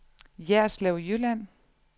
Jerslev Jylland